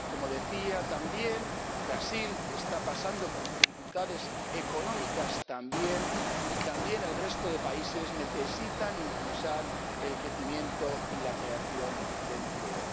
Como decía, también Brasil está pasando por dificultades económicas, y también el resto de países necesitan impulsar el crecimiento y la creación de empleo.